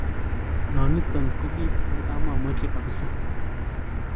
Nanito ko kit nekimamache kabisa.